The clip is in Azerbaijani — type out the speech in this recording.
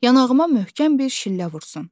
yanağıma möhkəm bir şillə vursun.